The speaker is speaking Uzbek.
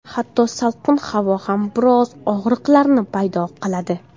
Hatto salqin havo ham biroz og‘riqlarni paydo qiladi.